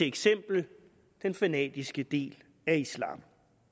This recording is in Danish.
eksempel den fanatiske del af islam